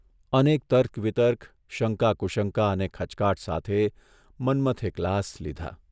અનેક તર્ક વિતર્ક, શંકા કુશંકા અને ખચકાટ સાથે મન્મથે ગ્લાસ લીધા.